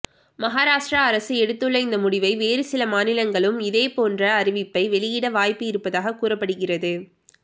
மகாராஷ்ட்ரா அரசு எடுத்துள்ள இந்த முடிவை வேறு சில மாநிலங்களும் இதேபோன்று அறிவிப்பை வெளியிட வாய்ப்பு இருப்பதாக கூறப்படுகிறது